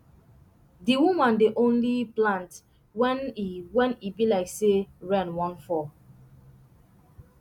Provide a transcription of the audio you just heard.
di woman dey only plant when e when e be like say rain wan fall